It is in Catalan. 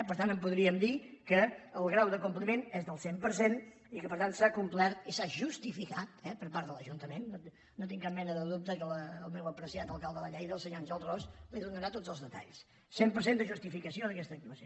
per tant podríem dir que el grau de compliment és del cent per cent i que per tant s’ha complert i s’ha justificat eh per part de l’ajuntament no tinc cap mena de dubte que el meu apreciat alcalde de lleida el senyor àngel ros li’n donarà tots els detalls cent per cent de justificació d’aquesta actuació